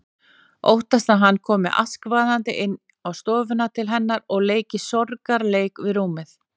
Óttast að hann komi askvaðandi inn á stofuna til hennar og leiki sorgarleik við rúmið.